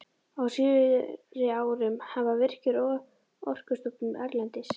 Á síðari árum hafa Virkir, Orkustofnun erlendis